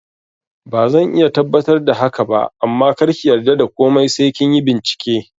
Bazan iya tabbatar da haka ba amma karki yarda da komai sai kinyi bincike